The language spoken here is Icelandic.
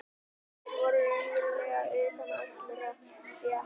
Þeir voru raunverulega utan allra stétta.